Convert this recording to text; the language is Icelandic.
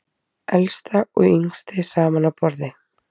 Elsta og yngsti saman á borði